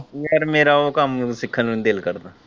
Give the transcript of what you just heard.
ਪਰ ਮੇਰਾ ਉਹ ਕੰਮ ਸਿੱਖਣ ਨੂੰ ਨਹੀਂ ਦਿੱਲ ਕਰਦਾ।